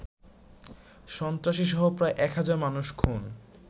সন্ত্রাসীসহ প্রায় এক হাজার মানুষ খুন